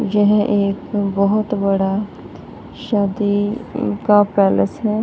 यह एक बहुत बड़ा शदी का पैलेस है।